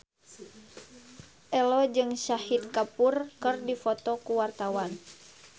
Ello jeung Shahid Kapoor keur dipoto ku wartawan